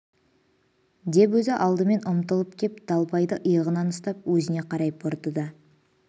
деп өзі алдымен ұмтылып кеп далбайды иығынан ұстап өзіне қарай бұрды да